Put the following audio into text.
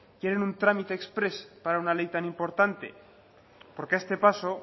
quieren un trámite exprés para una ley tan importante porque a este paso